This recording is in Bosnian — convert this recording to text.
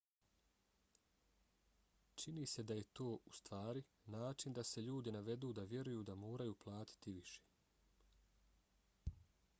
čini se da je to ustvari način da se ljudi navedu da vjeruju da moraju više platiti